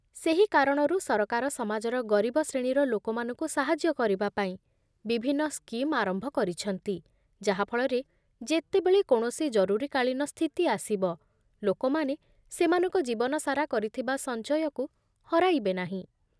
ସେହି କାରଣରୁ ସରକାର ସମାଜର ଗରିବ ଶ୍ରେଣୀର ଲୋକମାନଙ୍କୁ ସାହାଯ୍ୟ କରିବାପାଇଁ ବିଭିନ୍ନ ସ୍କିମ୍ ଆରମ୍ଭ କରିଛନ୍ତି, ଯାହାଫଳରେ ଯେତେବେଳେ କୌଣସି ଜରୁରୀକାଳୀନ ସ୍ଥିତି ଆସିବ, ଲୋକମାନେ ସେମାନଙ୍କ ଜୀବନସାରା କରିଥିବା ସଞ୍ଚୟକୁ ହରାଇବେ ନାହିଁ